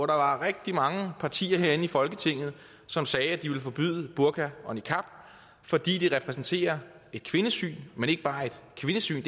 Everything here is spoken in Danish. der er rigtig mange partier herinde i folketinget som sagde at de ville forbyde burka og niqab fordi de repræsenterer et kvindesyn men ikke bare et kvindesyn